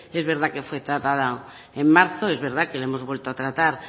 es verdad que fue tratada en marzo es verdad que la hemos vuelto a tratar